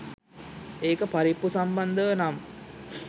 ඒක පරිප්පු සම්බන්ධව නම්